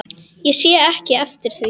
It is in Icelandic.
Ég sé ekki eftir því.